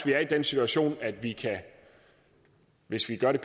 vi er i den situation at vi hvis vi gør det